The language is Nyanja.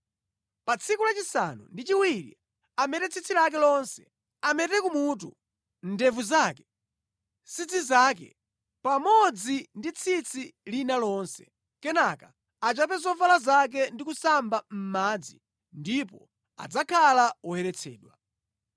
Pa tsiku lachisanu ndi chiwiri amete tsitsi lake lonse: amete kumutu, ndevu zake, nsidze zake pamodzi ndi tsitsi lina lonse. Kenaka achape zovala zake ndi kusamba mʼmadzi, ndipo adzakhala woyeretsedwa.